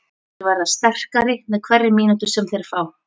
Þeir verða sterkari með hverri mínútu sem þeir fá.